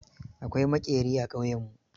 Akwai maƙeri a ƙauyenmu.